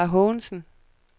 Klara Haagensen